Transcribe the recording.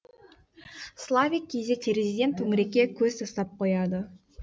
славик кейде терезеден төңірекке көз тастап қояды